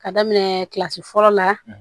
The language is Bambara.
Ka daminɛ kilasi fɔlɔ la